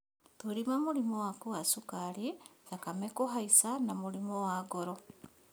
Thũrima mũrimũ waku wa cukari, thakame kũhaica na mũrimũ wa ngoro